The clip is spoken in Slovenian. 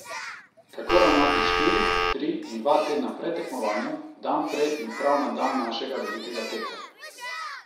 Kako ravnati štiri, tri in dva tedna pred tekmovanjem, dan prej in prav na dan našega velikega teka.